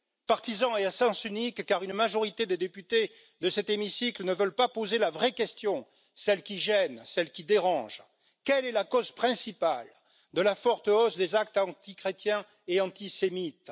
Partisan et à sens unique, car une majorité de députés de cet hémicycle ne veulent pas poser la vraie question, celle qui gêne, celle qui dérange quelle est la cause principale de la forte hausse des actes antichrétiens et antisémites?